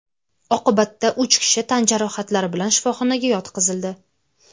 Oqibatda uch kishi tan jarohatlari bilan shifoxonaga yotqizildi.